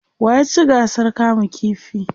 wa ya ci gasar kama ƙifi?